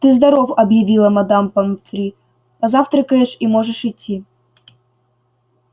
ты здоров объявила мадам помфри позавтракаешь и можешь идти